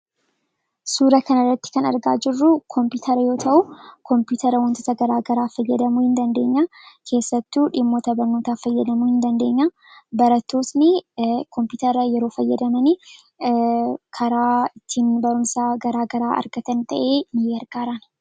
Suura kana irratti kan nuti argaa jirru kompiitara yoo ta'u, wantoota garaa garaafis ittiin fayyadamuu dandeenya. Keessattuu, dhimmoota barnootaaf fayyadamuu ni dandeenya. Barattoonni kompiitara yeroo fayyadaman, karaa itti barumsa garaa garaa argatan ta'ee ni gargaara.